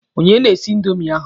Onye na-esi indomi ahụ?